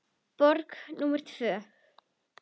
Borg númer tvö.